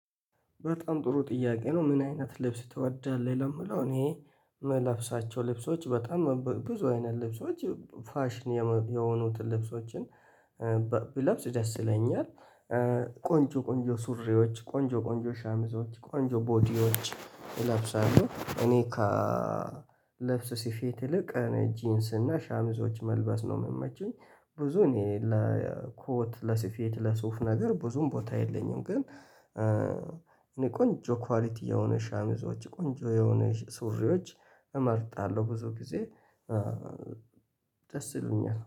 በጣም ጥሩ ጥያቄ ነው ምን አይነት ልብስ ትወዳለህ? ለሚለው እኔ ምለብሳቸው ልብሶች በጣም ብዙ አይነት ልብሶች ፋሽን የሆኑትን ልብሶችን ብለብስ ደስ ይለኛል። ቆንጆ ቆንጆ ሱሬዎች ቆንጆ ቆንጆ ሸሚዞች ቆንጆ ቦዲዎች እለብሳለሁ እኔ ከልብስ ሲፊት ይልቅ እኔ ጂንስ እና ሻምዞች መልበስ ነው የምመቸኝ። ብዙ እኔ ለኮት ለስፌት ለሱፍ ነገር ብዙም ቦታ የለኝም። ግን እኔ ቆንጆ ኳሊቲ የሆነ ሻምዞች ቆንጆ የሆነ ሱሪዎች እመርጣለሁ ብዙ ጊዜ ደስ ይለኛል